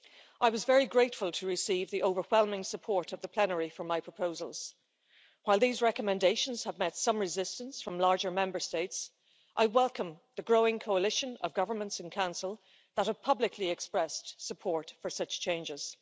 I was very grateful to receive the overwhelming support of the Plenary for my proposals. While these recommendations have met some resistance from larger Member States, I welcome the growing coalition of governments in Council that have publicly expressed support for such changes.